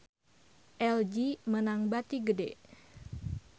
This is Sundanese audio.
LG meunang bati gede